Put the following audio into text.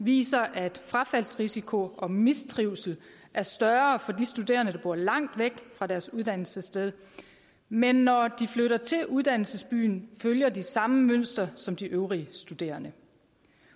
viser at frafaldsrisiko og mistrivsel er større for de studerende der bor langt væk fra deres uddannelsessted men når de flytter til uddannelsesbyerne følger de samme mønster som de øvrige studerende